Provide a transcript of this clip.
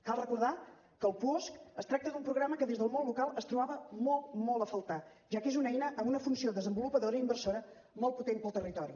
cal recordar que el puosc es tracta d’un programa que des del món local es trobava molt molt a faltar ja que és una eina amb una funció desenvolupadora i inversora molt potent per al territori